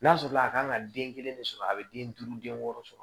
N'a sɔrɔ la a kan ka den kelen de sɔrɔ a bɛ den duuru den wɔɔrɔ sɔrɔ